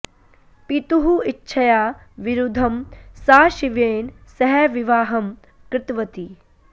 पितुः इच्छया विरुद्धं सा शिवेन सह विवाहं कृतवती